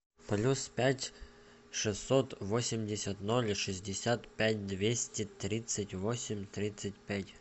плюс пять шестьсот восемьдесят ноль шестьдесят пять двести тридцать восемь тридцать пять